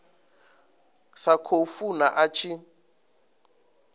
sa khou funa a tshi